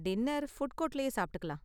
Dinner food கோர்ட்லயே சாப்பிட்டுக்கலாம்.